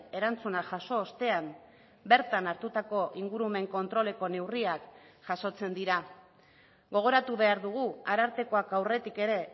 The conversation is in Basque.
erantzuna jaso ostean bertan hartutako ingurumen kontroleko neurriak jasotzen dira gogoratu behar dugu arartekoak aurretik ere